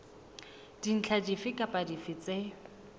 dintlha dife kapa dife tse